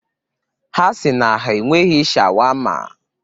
Ha si na ha enweghị shawama